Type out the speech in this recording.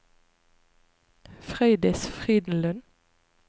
Frøydis Frydenlund